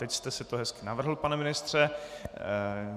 Teď jste si to hezky navrhl, pane ministře.